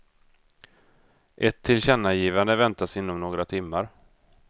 Ett tillkännagivande väntades inom några timmar.